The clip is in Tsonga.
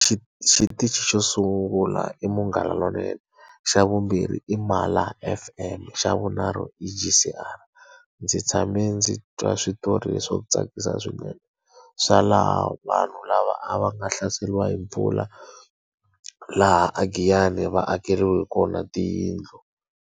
xitichi xo sungula i Munghana Lonene, xa vumbirhi i Mala F_M, xa vunharhu i G_C_R. Ndzi tshame ndzi twa switori leswo tsakisa swinene swa laha vanhu lava a va nga hlaseriwa hi mpfula, laha a Giyani va akeriwe kona tiyindlu.